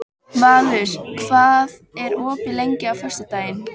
Valur, hvað er opið lengi á föstudaginn?